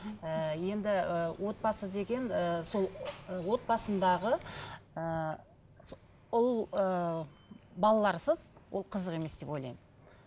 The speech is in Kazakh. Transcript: ііі енді і отбасы деген ііі сол ы отбасындағы ііі ол ыыы балаларсыз ол қызық емес деп ойлаймын